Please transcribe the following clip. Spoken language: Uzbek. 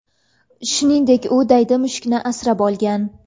Shuningdek, u daydi mushukni asrab olgan.